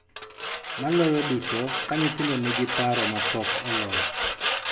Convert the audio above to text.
Maloyo duto, ka nyithindo nigi paro ma pok olos .